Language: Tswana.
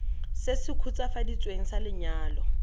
se se khutswafaditsweng sa lenyalo